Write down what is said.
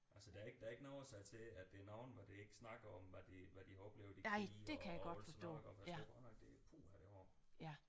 Altså der er ikke der er ikke noget at sige til at der er nogen hvor de ikke snakker om hvad de hvad de har oplevet i krige og alt sådan noget iggå for jeg tror godt nok det puha det er hårdt